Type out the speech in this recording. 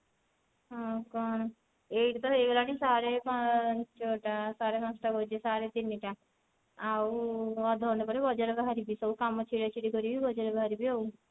ଆଉ କଣ ଏଇଠି ତ ହେଇଗଲାଣି ସାଢେ ପାଞ୍ଚ ଟା ସାଢେ ପାଞ୍ଚ ଟା କହୁଛି ସାଢେ ତିନି ଟା ଆଉ ଅଧ ଘଣ୍ଟା ପରେ ବଜାର ବାହାରିବି ସବୁ କାମ ଛିଡା ଛିଡି କରିକି ବଜାର ବାହାରିବି ଆଉ